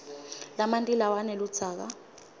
lamanti lawa aneludzaka